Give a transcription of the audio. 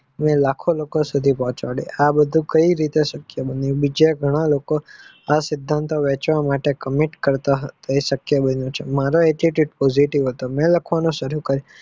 લખો લોકો સુધી પહોંચાડે આ બધું કઈ રીતે શકાય બને બીજા ઘણા લોકો આ સિદ્ધાંત વહેવા માટે comment કરવાનું શક્ય બનીયુ છે મારા attitude positive હતા એટલે જ મેં લખવાનું સારું કરીયુ.